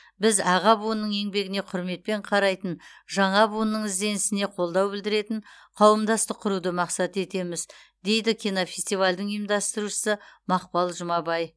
біз аға буынның еңбегіне құрметпен қарайтын жаңа буынның ізденісіне қолдау білдіретін қауымдастық құруды мақсат етеміз дейді кинофестивальдің ұйымдастырушысы мақпал жұмабай